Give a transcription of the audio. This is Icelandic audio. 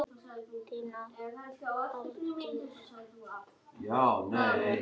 Þín Aldís Eva.